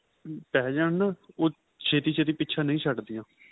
ਪੇਹ ਜਾਣ ਉਹ ਛੇਤੀ ਛੇਤੀ ਪਿੱਛਾ ਨਹੀਂ ਛੱਡਦੀਆਂ